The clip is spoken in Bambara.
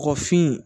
Kɔkɔfin